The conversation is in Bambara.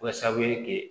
Kɛ sababu ye kɛ